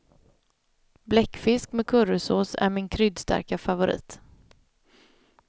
Bläckfisk med currysås är min kryddstarka favorit.